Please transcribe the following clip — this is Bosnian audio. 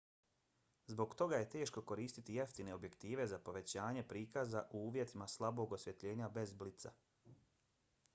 zbog toga je teško koristiti jeftine objektive za povećanje prikaza u uvjetima slabog osvjetljenja bez blica